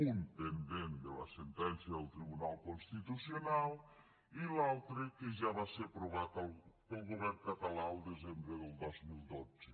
un pendent de la sentència del tribunal constitucional i l’altre que ja va ser aprovat pel govern català al desembre del dos mil dotze